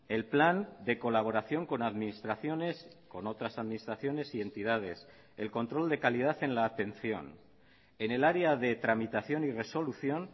el plan de colaboración con administraciones con otras administraciones y entidades el control de calidad en la atención en el área de tramitación y resolución